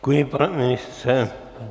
Děkuji, pane ministře.